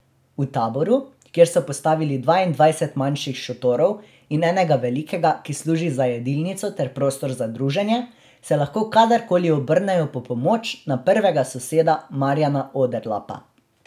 V taboru, kjer so postavili dvaindvajset manjših šotorov in enega velikega, ki služi za jedilnico ter prostor za druženje, se lahko kadarkoli obrnejo po pomoč na prvega soseda Marjana Oderlapa.